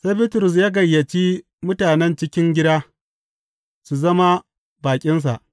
Sai Bitrus ya gayyaci mutanen cikin gida su zama baƙinsa.